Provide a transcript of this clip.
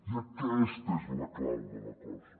i aquesta és la clau de la cosa